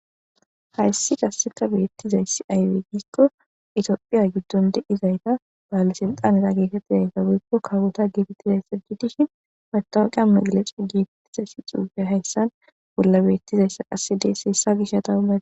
Hayssi qassekka beetizayssi aybe giikko ethiophphiya giddon de7izaytta balesilxxaneta getetidayitta woykko kawota getetidayta gidishin mattawuqiya magaleca getetizayssi xuufe hayssan bolla beettizayssa qasse dees . Hessa gishataw...